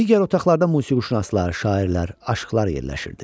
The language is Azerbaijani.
Digər otaqlarda musiqişünaslar, şairlər, aşiqlar yerləşirdi.